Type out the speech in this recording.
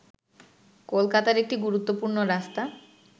কলকাতার একটি গুরুত্বপূর্ণ রাস্তা